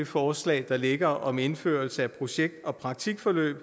forslag der ligger om indførelse af projekt og praktikforløb